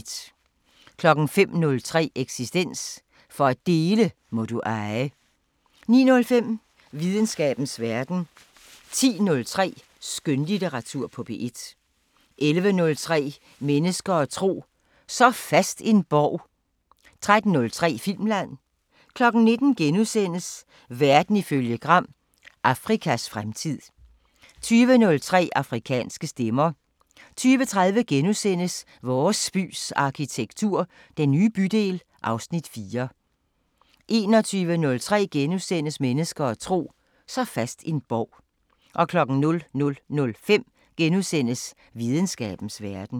05:03: Eksistens: For at dele må du eje 09:05: Videnskabens Verden 10:03: Skønlitteratur på P1 11:03: Mennesker og tro: Så fast en borg 13:03: Filmland 19:00: Verden ifølge Gram: Afrikas fremtid * 20:03: Afrikanske Stemmer 20:30: Vores bys arkitektur – Den nye bydel (Afs. 4)* 21:03: Mennesker og tro: Så fast en borg * 00:05: Videnskabens Verden *